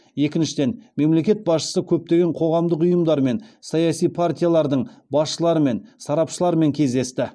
екіншіден мемлекет басшысы көптеген қоғамдық ұйымдар мен саяси партиялардың басшыларымен сарапшылармен кездесті